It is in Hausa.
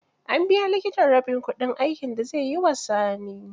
An biya likitan rabin kudin aikin da zai yi wa Sani.